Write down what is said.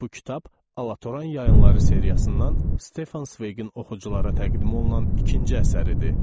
Bu kitab Alatoran Yayınları seriyasından Stefan Sveqin oxuculara təqdim olunan ikinci əsəridir.